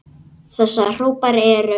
Þessa hópar eru